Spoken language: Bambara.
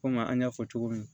Komi an y'a fɔ cogo min